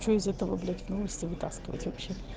что из этого блять в новости вытаскивать вообще